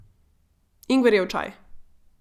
Ingverjev čaj.